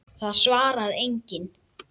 Það svarar enginn